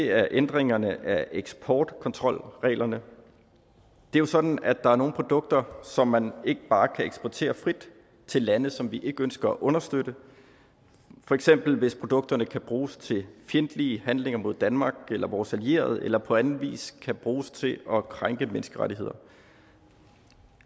er ændringerne af eksportkontrolreglerne det er jo sådan at der er nogle produkter som man ikke bare kan eksportere frit til lande som vi ikke ønsker at understøtte for eksempel hvis produkterne kan bruges til fjendtlige handlinger mod danmark eller vores allierede eller på anden vis kan bruges til at krænke menneskerettigheder